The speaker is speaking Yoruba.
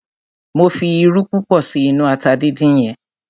Mo fi irú púpọ̀ sí inú ata dindin yẹn.